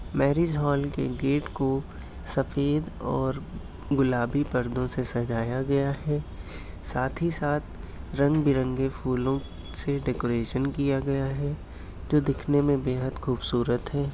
Marriage hall के gate को सफ़ेद और गुलाबी परदों सजाया गया है। साथ ही साथ रंग बिरंगे फूलो से डेकोरेशन किया गया है जो देखने में बेहद खुबसूरत है।